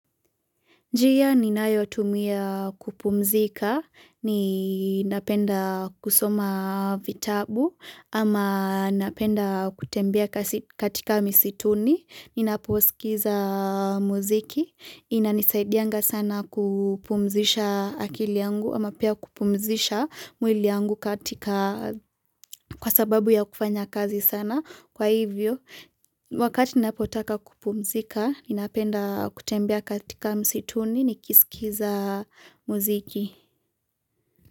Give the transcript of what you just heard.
Njia ni nayo tumia kupumzika, ni napenda kusoma vitabu ama napenda kutembea katika misituni, ni naposikiza muziki, inanisaidianga sana kupumzisha akili yangu ama pia kupumzisha mwili yangu kwa sababu ya kufanya kazi sana. Kwa hivyo, wakati ninapotaka kupumzika, ninapenda kutembea katika msituni nikisikiza mziki.